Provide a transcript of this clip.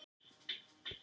Samtímaleg mállýsing